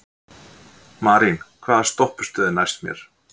Marín, hvaða stoppistöð er næst mér?